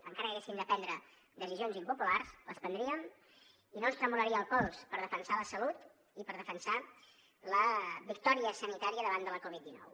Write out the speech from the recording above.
encara que haguéssim de prendre decisions impopulars les prendríem i no ens tremolaria el pols per defensar la salut i per defensar la victòria sanitària davant de la covid dinou